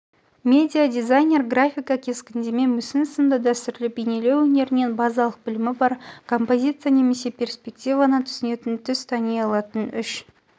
медиадизайнер графика кескіндеме мүсін сынды дәстүрлі бейнелеу өнерінен базалық білімі бар композиция мен перспективаны түсінетін түс тани алатын үш